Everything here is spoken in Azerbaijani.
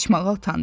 Qaçmağa utandı.